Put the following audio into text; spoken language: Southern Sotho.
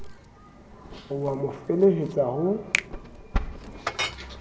o a mo felehetsa ho